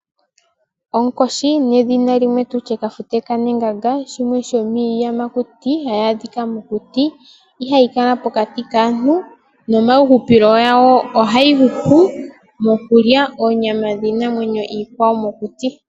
Onkoshi nedhina limwe tutye Kafute kanenganga shimwe shomiiyamakuti hayi adhika mokuti. Ihayi kala pokati kaantu. Nomahupilo gawo ohayi hupile mokulya oonyama dhiinamwenyo iikwawo mokuti.